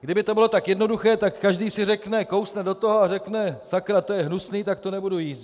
Kdyby to bylo tak jednoduché, tak každý si řekne, kousne do toho a řekne sakra, to je hnusný, tak to nebudu jíst.